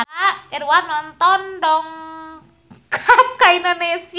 Edward Norton dongkap ka Indonesia